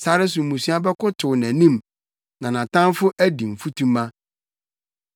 Sare so mmusua bɛkotow nʼanim na nʼatamfo adi mfutuma.